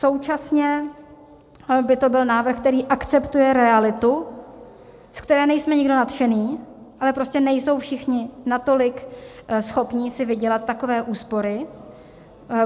Současně by to byl návrh, který akceptuje realitu, ze které nejsme nikdo nadšený, ale prostě nejsou všichni natolik schopní si vydělat takové úspory.